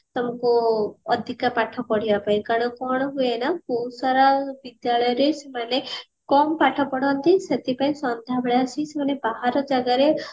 ଅଧିକା ପାଠ ପଢେଇବା ପାଇଁ କାରଣ କଣ ହୁଏ ନା ବହୁତ ସାରା ବିଦ୍ୟାଳୟ ରେ ସେମାନେ କମ ପାଠ ପଢାନ୍ତି ସେଥିପାଇଁ ସନଦ୍ୟା ବେଳେ ଆସି ସେମାନେ ବାହାର ଜାଗାରେ